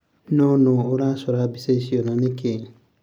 No nuu uraconga mbica icio na niki?